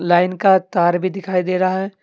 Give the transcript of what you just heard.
Line का तार भी दिखाई दे रहा है।